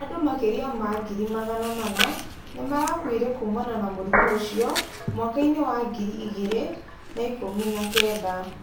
Andũ makĩria ma ngiri Magana mana 400,000 nĩmarakuire kumana na mũrimũ ũcio mwaka-inĩ wa ngiri igirĩ na ikumi na kenda.